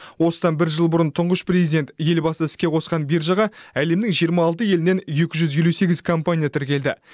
осыдан бір жыл бұрын тұңғыш президент елбасы іске қосқан биржаға әлемнің жиырма алты елінен екі жүз елу сегіз компания тіркелді